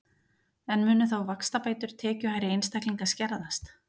En munu þá vaxtabætur tekjuhærri einstaklinga skerðast?